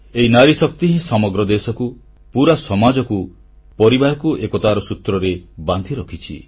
ଏହି ନାରୀଶକ୍ତି ହିଁ ସମଗ୍ର ଦେଶକୁ ପୁରା ସମାଜକୁ ପରିବାରକୁ ଏକତାର ସୂତ୍ରରେ ବାନ୍ଧି ରଖିଛି